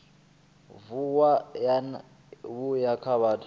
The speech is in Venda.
vuwa vho ya kha vhathu